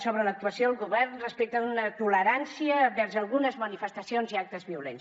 sobre l’actuació del govern respecte d’una tolerància vers algunes manifestacions i actes violents